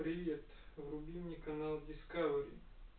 привет включи мне канал дискавери